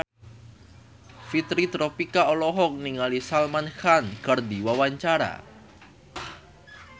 Fitri Tropika olohok ningali Salman Khan keur diwawancara